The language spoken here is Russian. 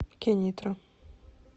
кенитра